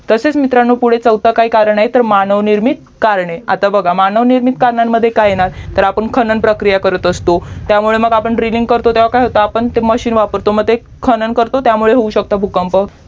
तसेच मित्रांनो पुढे चौथे काय कारण आहे तर मानवनिर्मित कारणे आता बघा मानव निर्मित कारणे कारणांमध्ये काय येणार तर आपण खानन प्रक्रिया करत असतो त्यामुळे आपण draining करतो तर काय होतं ते machine वापरतो खानन करतो त्यामुळे होऊ शकते ते भूकंप